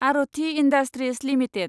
Aarti industries limited